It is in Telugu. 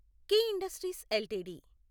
key industries LTD